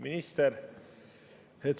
Minister!